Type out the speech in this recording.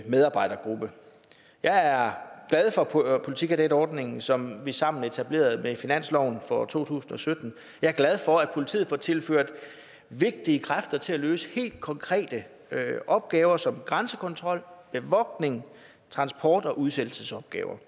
medarbejdergruppe jeg er glad for politikadetordningen som vi sammen etablerede med finansloven for to tusind og sytten jeg er glad for at politiet får tilført vigtige kræfter til at løse helt konkrete opgaver som grænsekontrol bevogtning transport og udsættelsesopgaver